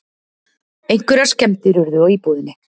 Einhverjar skemmdir urðu á íbúðinni